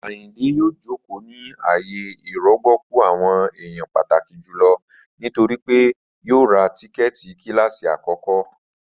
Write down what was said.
Ayíndé yòò jókò ní ààyè ìrọ̀gbọ̀kú àwọn èèyàn pàtàkí jùlọ nítorí pé yòò rá tíkẹ́ẹ̀tì kílásí akọ̀kọ